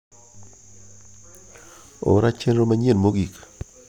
ora chenro manyien mogik